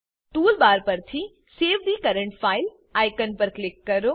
toolbar પરથી save the current file icon પર click કરો